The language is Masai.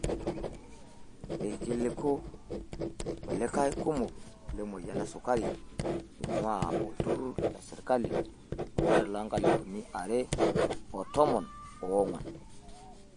Ilkiliku kulie kumok lemoyian esukari einguaa olturrur le serkali olari loonkalifuni are o tomon oongwan.